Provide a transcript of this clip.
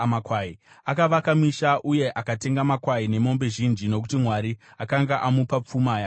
Akavaka misha uye akatenga makwai nemombe zhinji nokuti Mwari akanga amupa pfuma yakawanda.